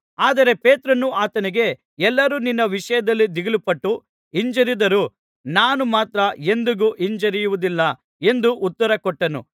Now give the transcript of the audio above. ಆದರೆ ಪೇತ್ರನು ಆತನಿಗೆ ಎಲ್ಲರೂ ನಿನ್ನ ವಿಷಯದಲ್ಲಿ ದಿಗಿಲುಪಟ್ಟು ಹಿಂಜರಿದರೂ ನಾನು ಮಾತ್ರ ಎಂದಿಗೂ ಹಿಂಜರಿಯುವುದಿಲ್ಲ ಎಂದು ಉತ್ತರ ಕೊಟ್ಟನು